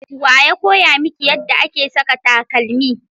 wa ya koya miki yadda ake saka takalmi?